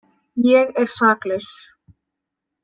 Ég er saklaus.